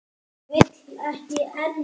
Og vill ekki enn.